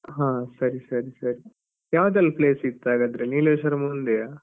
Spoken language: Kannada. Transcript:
ಹಾ ಸರಿ ಸರಿ ಸರಿ ಯಾವದೆಲ್ಲ place ಇತ್ತು ಹಾಗಾದ್ರೆ ನೀಲೇಶ್ವರಂ ಒಂದೆಯ?